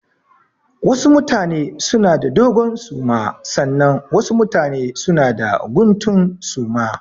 Wasu mutane suna da dogon suma sannan wasu mutane suna da guntun suma.